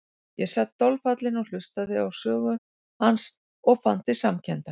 Ég sat dolfallinn og hlustaði á sögu hans og fann til samkenndar.